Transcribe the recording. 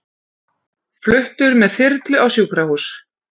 Fluttur með þyrlu á sjúkrahús